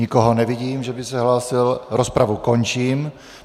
Nikoho nevidím, že by se hlásil, rozpravu končím.